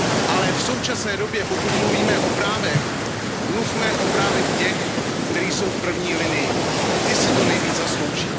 Ale v současné době, pokud mluvíme o právech, mluvme o právech těch, kteří jsou v první linii, ti si to nejvíce zaslouží.